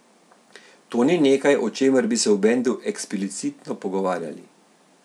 To ni nekaj, o čemer bi se v bendu eksplicitno pogovarjali.